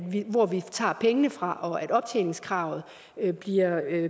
hvor vi tager pengene fra og at optjeningskravet bliver